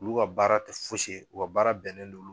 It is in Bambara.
Olu ka baara tɛ fosi ye u ka baara bɛnnen don